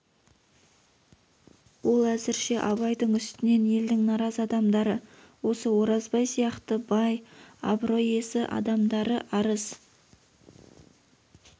ол әзірше абайдың үстінен елдің наразы адамдары осы оразбай сияқты бай абырой иесі адамдары арыз